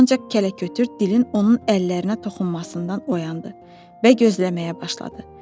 Ancaq kələkötür dilin onun əllərinə toxunmasından oyandı və gözləməyə başladı.